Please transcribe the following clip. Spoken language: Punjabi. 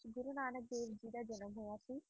ਗੁਰੂ ਨਾਨਕ ਦੇਵ ਜੀ ਦਾ ਜਨਮ ਹੋਇਆ ਸੀ